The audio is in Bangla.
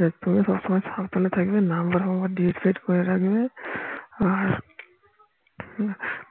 দেখ তোরা সবসময় সাবধানে থাকবে number টাম্বার reset করে রাখবে আর